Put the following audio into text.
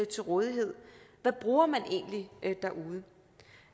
til rådighed og hvad bruger man egentlig derude